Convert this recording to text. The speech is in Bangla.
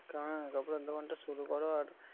হ্যাঁ কাপড়ের দোকানটা শুরু করো আর